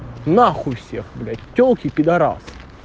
нахуй всех блять телки пидорасы